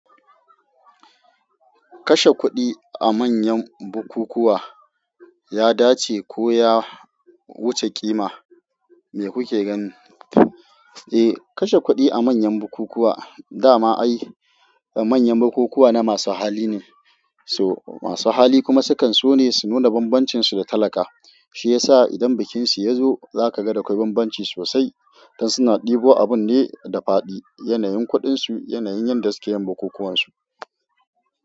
Kashe kuɗi a manyan bukukuwa ya dace ko ya wuce ƙima? Me kuke ganin? Eh kashe kuɗi a manyan bukukuwa, da ma ai manyan bukukuwa na masu hali ne. To masu hali kuma sukan so ne su nuna bambancinsu da talaka. Shiyasa idan bikinsu ya zo zakaga dakwai bambanci sosai. Dan suna ɗebo abun ne da fadi, yanayin kuɗinsu, yanayin yadda suke yin bukukuwansu.